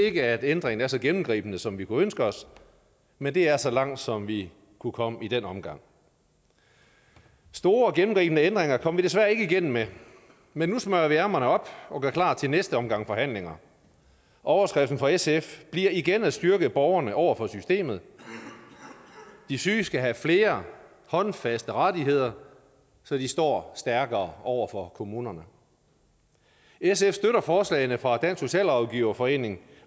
ikke at ændringen er så gennemgribende som vi kunne ønske os men det er så langt som vi kunne komme i den omgang store og gennemgribende ændringer kom vi desværre ikke igennem med men nu smøger vi ærmerne op og gør klar til næste omgang forhandlinger og overskriften fra sf bliver igen at styrke borgerne over for systemet de syge skal have flere håndfaste rettigheder så de står stærkere over for kommunerne sf støtter forslagene fra dansk socialrådgiverforening